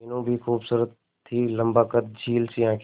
मीनू भी खूबसूरत थी लम्बा कद झील सी आंखें